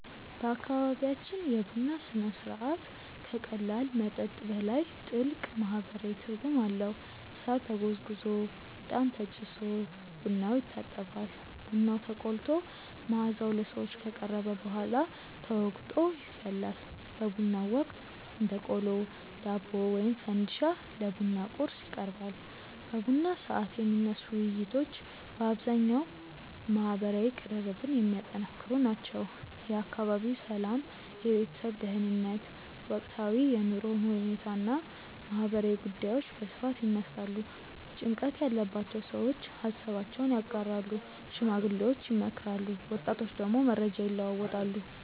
በአካባቢያችን የቡና ሥነ ሥርዓት ከቀላል መጠጥ በላይ ጥልቅ ማህበራዊ ትርጉም አለው። ሳር ተጎዝጉዞ፣ እጣን ተጭሶ ቡናው ይታጠባል። ቡናው ተቆልቶ መዓዛው ለሰዎች ከቀረበ በኋላ ተወቅጦ ይፈላል። በቡናው ወቅት እንደ ቆሎ፣ ዳቦ ወይም ፈንዲሻ ለቡና ቁርስ ይቀርባል። በቡና ሰዓት የሚነሱ ውይይቶች በአብዛኛው ማህበራዊ ቅርርብን የሚያጠነክሩ ናቸው። የአካባቢው ሰላም፣ የቤተሰብ ደህንነት፣ ወቅታዊ የኑሮ ሁኔታ እና ማህበራዊ ጉዳዮች በስፋት ይነሳሉ። ጭንቀት ያለባቸው ሰዎች ሃሳባቸውን ያጋራሉ፣ ሽማግሌዎች ይመክራሉ፣ ወጣቶች ደግሞ መረጃ ይለዋወጣሉ።